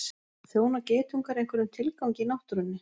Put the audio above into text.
Þjóna geitungar einhverjum tilgangi í náttúrunni?